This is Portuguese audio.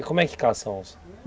E como é que caça onça?